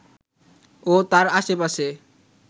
ও তার আশপাশে